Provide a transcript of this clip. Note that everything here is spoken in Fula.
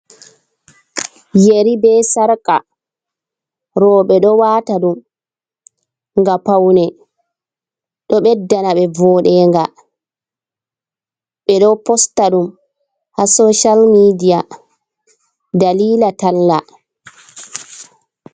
Yeri be sarka, roɓe ɗo wata ɗum ga paune, ɗo ɓedda na ɓe voɗenga ɓe ɗo posta ɗum ha social media dalila talla.